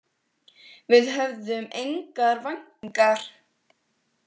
Við höfðum engar væntingar.